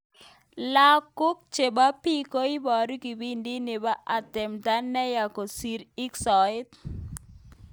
Lenguk chebok biik cheibaru kibindit nebo atemta neya keistoo ik soet.